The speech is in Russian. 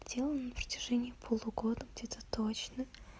сделано на протяжении полугода где-то точно